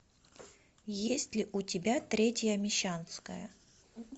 есть ли у тебя третья мещанская